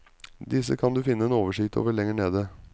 Disse kan du finne en oversikt over lenger nede.